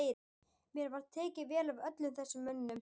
Mér var tekið vel af öllum þessum mönnum.